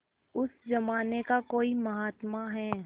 उस जमाने का कोई महात्मा है